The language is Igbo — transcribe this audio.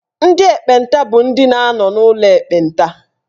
Ndị ekpenta bụ ndị na-anọ n'ụlọ ekpenta.